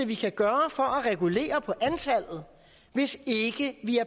vi kan gøre for at regulere på antallet hvis ikke vi